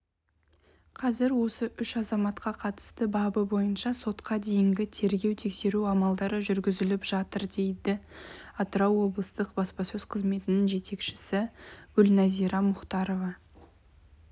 қазір осы үш азаматқа қатысты бабы бойынша сотқа дейінгі тергеу-тексеру амалдары жүргізіліп жатыр деді атырау облыстық баспасөз қызметінің жетекшісі гүлнәзирамұхтарова